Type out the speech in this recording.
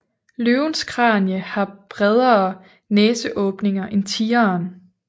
Løvens kranie har bredere næseåbninger end tigeren